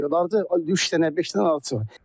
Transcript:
Arısı da yoxdur, üç dənə, beş dənə arısı var.